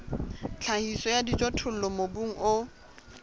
tlhahiso ya dijothollo mobung o